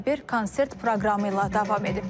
Tədbir konsert proqramı ilə davam edib.